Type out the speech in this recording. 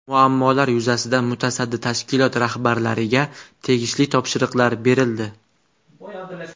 Muammolar yuzasidan mutasaddi tashkilotlar rahbarlariga tegishli topshiriqlar berildi.